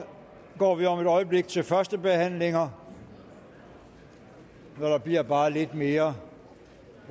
går vi om et øjeblik til førstebehandlinger når der bliver bare lidt mere